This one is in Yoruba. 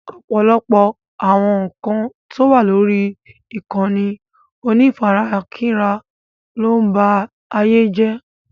Ọ̀pọ̀lọpọ̀ àwọn ǹkan tó wà lórí ìkànnì onífarakínra ló ń ba ayé jé.